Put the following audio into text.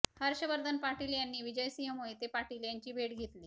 हर्षवर्धन पाटील यांनी विजयसिंह मोहिते पाटील यांची भेट घेतली